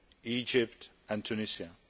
Egypt and Tunisia.